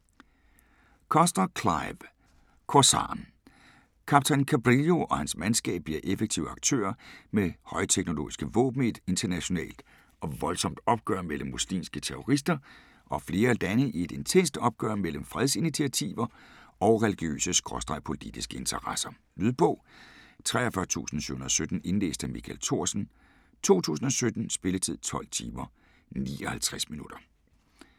Cussler, Clive: Korsaren Kaptajn Cabrillo og hans mandskab bliver effektive aktører med højteknologiske våben i et internationalt og voldsomt opgør mellem muslimske terrorister og flere lande i et intenst opgør mellem fredsinitiativer og religiøse/politiske interesser. Lydbog 43717 Indlæst af Michael Thorsen, 2017. Spilletid: 12 timer, 59 minutter.